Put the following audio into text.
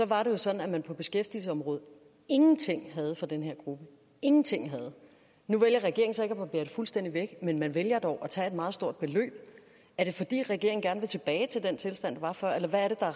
var det jo sådan at man på beskæftigelsesområdet ingenting havde for den her gruppe ingenting nu vælger regeringen så ikke at barbere det fuldstændig væk men man vælger dog at tage et meget stort beløb er det fordi regeringen gerne vil tilbage til den tilstand der var før eller hvad er